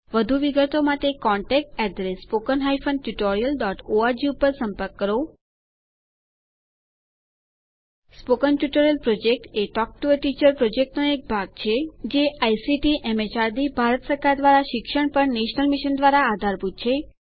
વધુ વિગતો માટે contactspoken tutorialorg ઉપર સંપર્ક કરો spoken tutorial project A talk to a teacher યોજનાનો ભાગ છે જે આઇસીટીએમએચઆરડીભારત સરકાર દ્વારા શિક્ષણ પર નેશનલ મિશન દ્વારા આધારભૂત છે